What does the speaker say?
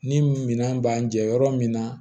Ni minɛn b'an jɛ yɔrɔ min na